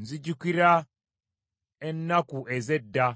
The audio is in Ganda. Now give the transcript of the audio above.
Nzijukira ennaku ez’edda,